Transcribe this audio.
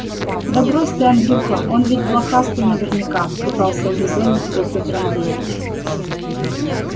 да брось ты андрюха он ведь блохастый наверняка пытался урезонить его петр андреевич